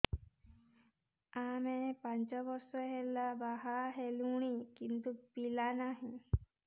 ଆମେ ପାଞ୍ଚ ବର୍ଷ ହେଲା ବାହା ହେଲୁଣି କିନ୍ତୁ ପିଲା ନାହିଁ